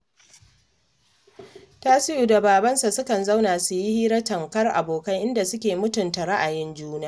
Tasi'u da babansa sukan zauna su yi hira tamkar abokai, inda suke mutunta ra'ayin juna